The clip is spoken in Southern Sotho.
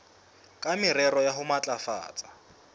ka morero wa ho matlafatsa